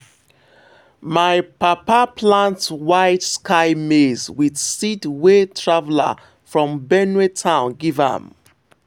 my papa plant white sky maize with seed wey traveller from benue town give am.